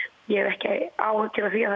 ég hef ekki áhyggjur af því að